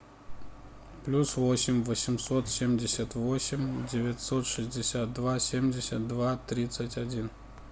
плюс восемь восемьсот семьдесят восемь девятьсот шестьдесят два семьдесят два тридцать один